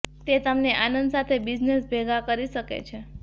તે તમને આનંદ સાથે બિઝનેસ ભેગા કરી શકે છે